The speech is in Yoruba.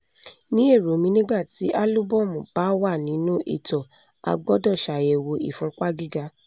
ní èrò mi nígbà tí àlúbọ́mù bá wà nínú ìtọ̀ a gbọ́dọ̀ ṣàyẹ̀wò ìfúnpá gíga